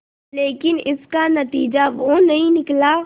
लेकिन इसका नतीजा वो नहीं निकला